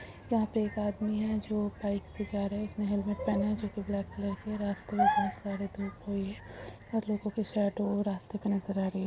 यहाँ पे एक आदमी हैं जो बाइक से जा रहे है उसने हैलमेट पहना हैं जोकि ब्लैक कलर की हैं रास्ते पे बहुत सारी धुप हुई और लोगो की शैडो रास्ते पे नजर आ रही हैं।